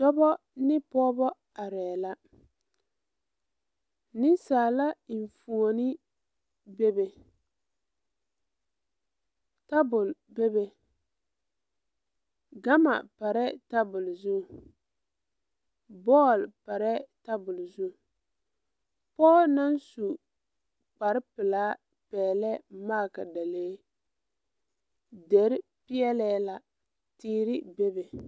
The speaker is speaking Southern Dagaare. Dɔbɔ ne pɔɔbɔ arɛɛ la neŋsaala eŋfuone bebe tabol bebe gama parɛɛ tabol zu bɔɔl parɛɛ tabol zu pɔɔ naŋ su kparepelaa pɛɛlɛɛ magdalee dere peɛlɛɛ la teere bebe.